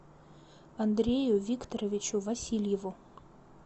андрею викторовичу васильеву